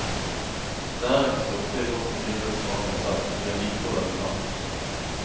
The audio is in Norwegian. Det er ikke så ofte jeg går på dyre restauranter selv, men jeg liker å lage mat.